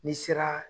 N'i sera